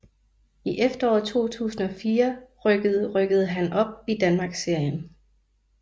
I efteråret 2004 rykkede rykkede han op i Danmarksserien